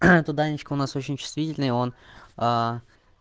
туда анечка у нас очень чувствительные он